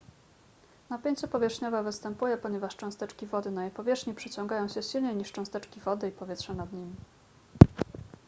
napięcie powierzchniowe występuje ponieważ cząsteczki wody na jej powierzchni przyciągają się silniej niż cząsteczki wody i powietrza nad nimi